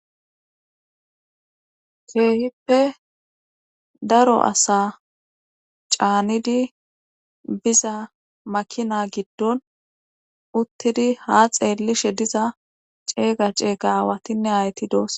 keehippe daro asa caanidi biza makina giddon uttidi ha xeellishe diza ceeyga ceeyga aawatinne hayti doos